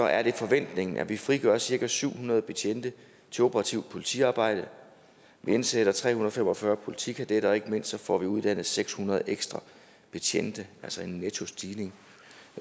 er er forventningen at vi frigør cirka syv hundrede betjente til operativt politiarbejde vi indsætter tre hundrede og fem og fyrre politikadetter og ikke mindst får vi uddannet seks hundrede ekstra betjente altså en nettostigning